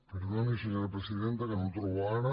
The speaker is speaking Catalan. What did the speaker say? perdoni senyora presidenta que no el trobo ara